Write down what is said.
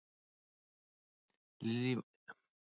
Lillý Valgerður Pétursdóttir: Virðist vera vel á sig kominn?